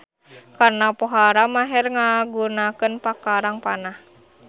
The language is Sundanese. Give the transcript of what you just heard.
Karna pohara maher ngagunakeun pakarang panah.